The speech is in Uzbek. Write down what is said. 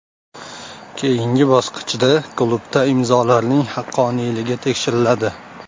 Keyingi bosqichda klubda imzolarning haqqoniyligi tekshiriladi.